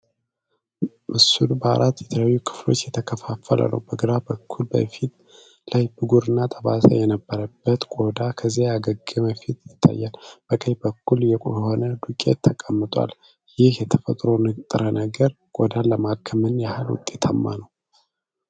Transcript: ምስሉ በአራት የተለያዩ ክፍሎች የተከፈለ ነው። በግራ በኩል፣ በፊት ላይ ብጉርና ጠባሳ የነበረበት ቆዳ፣ ከዚያም ያገገመ ፊት ይታያል። በቀኝ በኩል፣ የሆነ ዱቄት ተቀምጠዋል። ይህ የተፈጥሮ ንጥረ ነገር ቆዳን ለማከም ምን ያህል ውጤታማ ነው?